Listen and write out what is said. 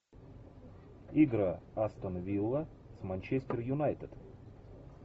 игра астон вилла с манчестер юнайтед